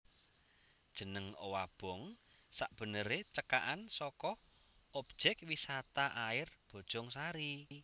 Jeneng Owabong sabeneré cekakan saka Objék Wisata Air Bojongsari